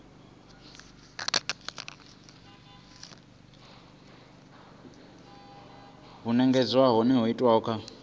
na vhugevhenga ho itwaho kha